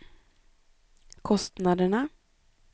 kostnaderna